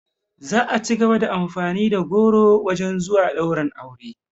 Za a cigaba da amfani da goro wajen zuwa ɗaurin aure